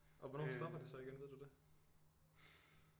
Og hvornår stopper det så igen ved du det